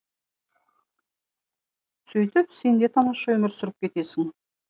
сөйтіп сен де тамаша өмір сүріп кетесің